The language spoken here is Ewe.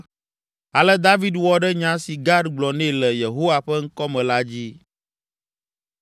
Ale David wɔ ɖe nya si Gad gblɔ nɛ le Yehowa ƒe ŋkɔ me la dzi.